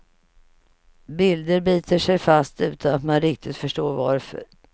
Bilder biter sig fast utan att man riktigt förstår varför.